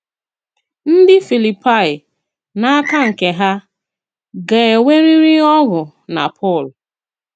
Ndị Filipaị, n’aka nke ha, gā-enwerịrị ọṅụ na Pọl.